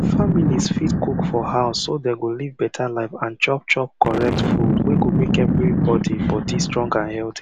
families fit cook for house so dem go live better life and chop chop correct food wey go make everybody body strong and healthy